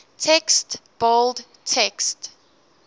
text bold text